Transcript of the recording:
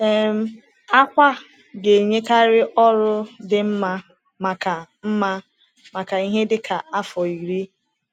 um Akwa ga-enyekarị ọrụ dị mma maka mma maka ihe dị ka afọ iri.